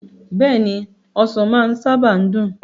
Beeni, Osan maa saba n dun